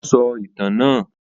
Wọn sọ ìtàn náà?